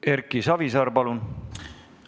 Erki Savisaar, palun!